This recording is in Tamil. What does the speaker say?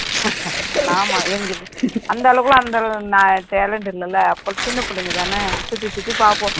ஆமா அந்த அளவுக்கு எல்லாம் அந்த அளவுக்கு talent இல்லைல்ல அப்ப சின்ன பிள்ளைங்கதானே சுத்தி சுத்தி பார்ப்போம்